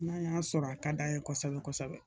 N'a y'a sɔrɔ a ka d'an ye kosɛbɛ kosɛbɛ